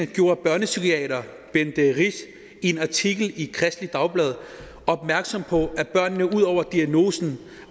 gjorde børnepsykiater bente rich i en artikel i kristeligt dagblad opmærksom på at børnene ud over diagnoserne